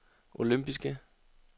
olympiske